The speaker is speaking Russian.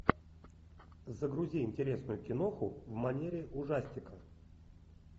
загрузи интересную киноху в манере ужастика